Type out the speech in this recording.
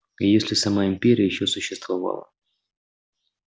и если сама империя ещё существовала